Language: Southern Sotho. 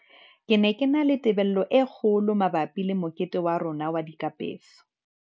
"Ke ne ke na le tebello e kgo lo mabapi le mokete wa rona wa dikapeso."